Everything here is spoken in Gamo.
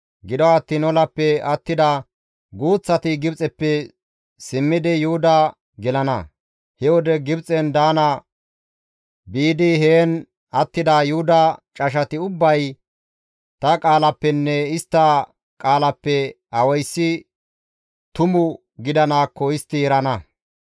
Gido attiin olappe attida guuththati Gibxeppe simmidi Yuhuda gelana; he wode Gibxen daana biidi heen attida Yuhuda cashati ubbay ta qaalappenne istta qaalappe awayssi tumu gidanaakko istti erana.